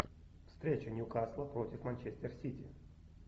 встреча ньюкасла против манчестер сити